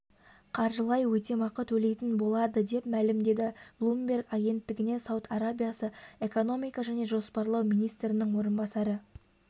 қаржылай өтемақы төлейтін болады деп мәлімдеді блумберг агенттігіне сауд арабиясы экономика және жоспарлау министрінің орынбасары